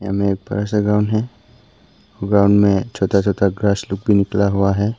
सामने एक बड़ा सा ग्राउंड है ग्राउंड में छोटा छोटा ग्रास लोग भी निकला हुआ है।